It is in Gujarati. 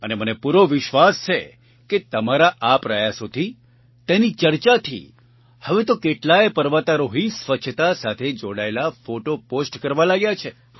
અને મને પૂરો વિશ્વાસ છે કે તમારા આ પ્રયાસોથી તેની ચર્ચાથી હવે તો કેટલાય પર્વતારોહી સ્વચ્છતા સાથે જોડાયેલા ફોટો પોસ્ટ કરવા લાગ્યા છે